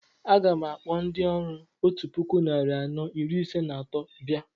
A gam akpọ ndị ọrụ otú puku narị anọ iri ise na atọ bia